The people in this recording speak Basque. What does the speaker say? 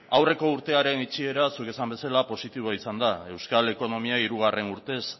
aurreko urtearen itxiera zuk esan bezala positiboa izan da euskal ekonomia hirugarren urtez